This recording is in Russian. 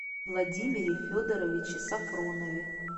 владимире федоровиче сафронове